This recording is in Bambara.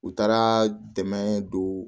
U taara dɛmɛ don